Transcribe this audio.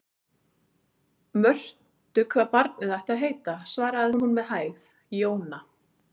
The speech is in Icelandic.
Mörtu hvað barnið ætti að heita, svaraði hún með hægð: Jóna.